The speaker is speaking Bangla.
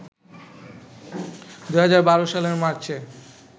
২০১২ সালের মার্চে